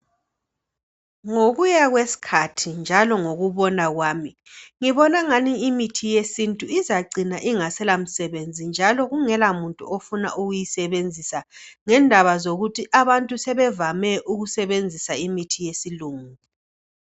Ngokuya kweskhathi njalo ngokubona kwami, ngibona ngani imithi yesintu izacina ingasela msebenzi njalo kungelamuntu ofuna ukuyisebenzisa ngendaba zokuthi abantu sebevame ukusebenzisa imithi yesilungu